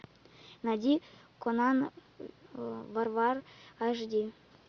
найди конан варвар аш ди